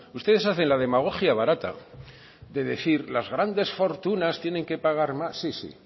ustedes hacen la demagogia barata de decir las grandes fortunas tienen que pagar más sí sí